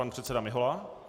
Pan předseda Mihola.